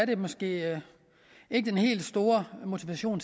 det måske ikke er den helt store motivation